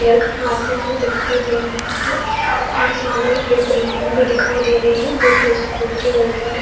Prayer करवाते हुए दिखाई दे रहे है और सामने की बिल्डिंग भी दिखाई दे रही है जो की स्कूल की बिल्डिंग है।